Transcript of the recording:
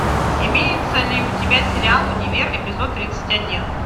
имеется ли у тебя сериал универ эпизод тридцать один